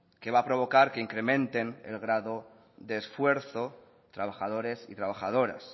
que va a provocar que incrementen el grado de esfuerzo trabajadores y trabajadoras